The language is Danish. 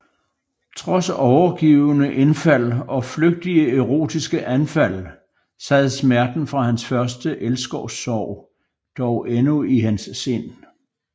Trods overgivne indfald og flygtige erotiske anfald sad smerten fra hans første elskovssorg dog endnu i hans sind